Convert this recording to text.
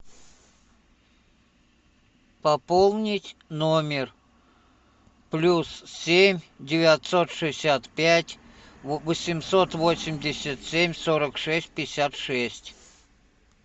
пополнить номер плюс семь девятьсот шестьдесят пять восемьсот восемьдесят семь сорок шесть пятьдесят шесть